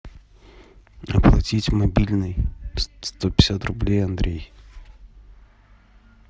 оплатить мобильный сто пятьдесят рублей андрей